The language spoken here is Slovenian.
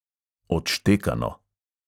Odštekano.